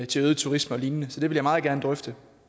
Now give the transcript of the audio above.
til øget turisme og lignende så det vil jeg meget gerne drøfte